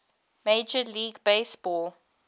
major league baseball